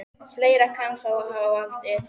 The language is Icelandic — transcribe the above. Fleira kann þó að hafa valdið.